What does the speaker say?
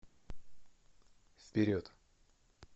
вперед